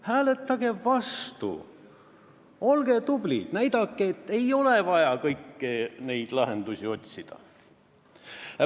Hääletage vastu, olge tublid, ja näidake, et ei ole vaja kõiki neid lahendusi otsida.